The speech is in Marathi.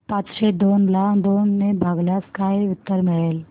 पाचशे दोन ला दोन ने भागल्यास काय उत्तर मिळेल